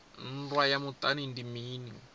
nndwa ya muṱani ndi mini